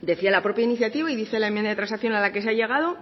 decía la propia iniciativa y dice la enmienda de transacción a la que se ha llegado